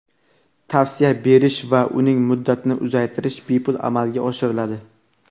tavsiya berish va uning muddatini uzaytirish bepul amalga oshiriladi.